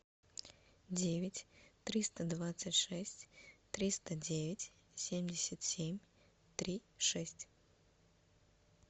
девять триста двадцать шесть триста девять семьдесят семь три шесть